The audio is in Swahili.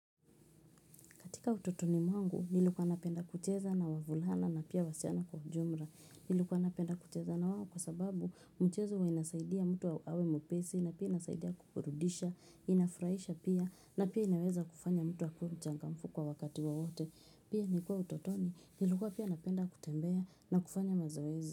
Katika utotoni mwangu, nilikuwa napenda kucheza na wavulana na pia wasichana kwa jumla. Nilikuwa napenda kucheza na wao kwa sababu mchezo huwa inasaidia mtu awe mwepesi na pia inasaidia kuburudisha, inafurahisha pia na pia inaweza kufanya mtu akuwe mchangamfu kwa wakati wowote. Pia nikiwa utotoni, nilikuwa pia napenda kutembea na kufanya mazoezi.